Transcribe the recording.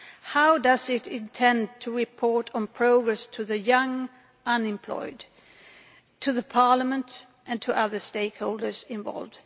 How does it intend to report on progress to the young unemployed, to Parliament, and to other stakeholders involved?